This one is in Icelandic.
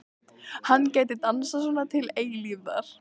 Hann gæti dansað svona til eilífðar.